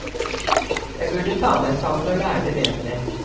Jeg burde ta meg sammen og lære det bedre.